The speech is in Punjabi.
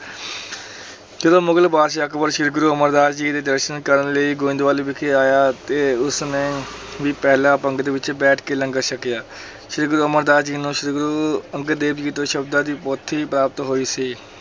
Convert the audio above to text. ਜਦੋਂ ਮੁਗਲ ਬਾਦਸ਼ਾਹ ਅਕਬਰ ਸ੍ਰੀ ਗੁਰੂ ਅਮਰਦਾਸ ਜੀ ਦੇ ਦਰਸ਼ਨ ਕਰਨ ਲਈ ਗੋਇੰਦਵਾਲ ਵਿਖੇ ਆਇਆ ਅਤੇ ਉਸ ਨੇ ਵੀ ਪਹਿਲਾਂ ਪੰਗਤ ਵਿੱਚ ਬੈਠ ਕੇ ਲੰਗਰ ਛਕਿਆ ਸ੍ਰੀ ਗੁਰੂ ਅਮਰ ਦਾਸ ਜੀ ਨੂੰ ਸ੍ਰੀ ਗੁਰੂ ਅੰਗਦ ਦੇਵ ਜੀ ਤੋਂ ਸ਼ਬਦਾਂ ਦੀ ਪੋਥੀ ਪ੍ਰਾਪਤ ਹੋਈ ਸੀ।